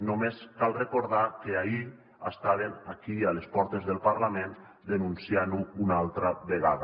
només cal recordar que ahir estaven aquí a les portes del parlament denunciant ho una altra vegada